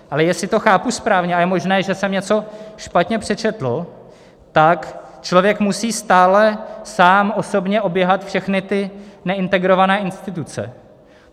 Ale jestli to chápu správně, ale je možné, že jsem něco špatně přečetl, tak člověk musí stále sám osobně oběhat všechny ty neintegrované instituce.